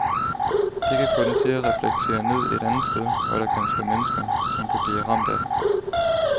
Det kan få den til at reflektere ned et andet sted, hvor der kan stå mennesker, som kan blive man ramt af den.